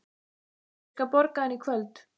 Ég skal borga hana í kvöld.